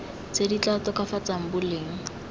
tse di tla tokafatsang boleng